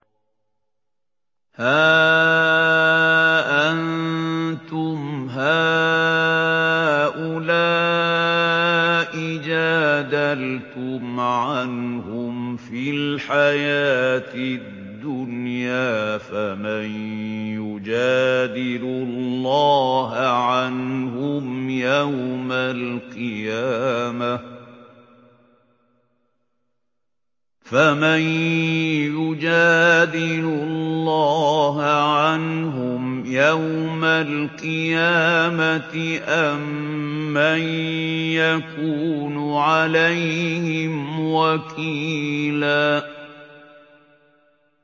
هَا أَنتُمْ هَٰؤُلَاءِ جَادَلْتُمْ عَنْهُمْ فِي الْحَيَاةِ الدُّنْيَا فَمَن يُجَادِلُ اللَّهَ عَنْهُمْ يَوْمَ الْقِيَامَةِ أَم مَّن يَكُونُ عَلَيْهِمْ وَكِيلًا